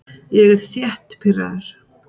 Ég er þétt pirraður.